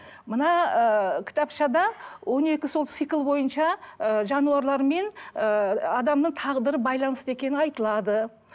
мына ыыы кітапшада он екі сол цикл бойынша ы жануарлармен ыыы адамның тағдыры байланысты екені айтылады